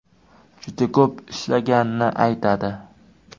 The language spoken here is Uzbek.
Juda ko‘p ishlaganini aytadi.